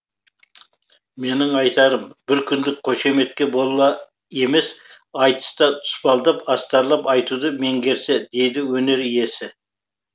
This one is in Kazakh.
менің айтарым бір күндік қошеметке бола емес айтыста тұспалдап астарлап айтуды меңгерсе дейді өнер иесі